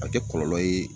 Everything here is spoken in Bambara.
A bɛ kɛ kɔlɔlɔ ye